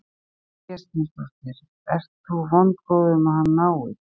Sigrún Vésteinsdóttir: Ert þú vongóð um að hann náist?